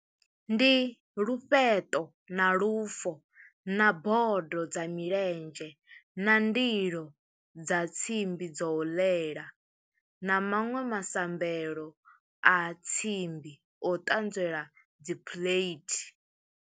Ndi lufheṱo na lufo, na bodo dza milenzhe, na ndilo dza tsimbi dzo ḽela, na maṅwe masambelo a tsimbi o ṱanzela dzi plate.